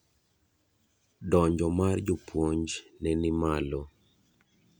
donjo mar jopuonj ne ni malo